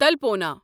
تلپونا